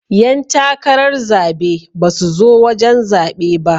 Yan takarar zabe ba su zo wajen zaɓe ba.